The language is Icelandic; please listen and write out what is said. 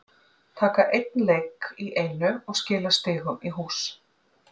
Taka einn leik fyrir í einu og skila stigunum í hús.